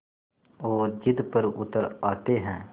और ज़िद पर उतर आते हैं